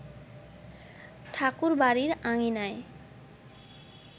ঠাকুরবাড়ির আঙিনায়